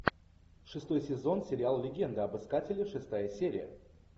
шестой сезон сериал легенда об искателе шестая серия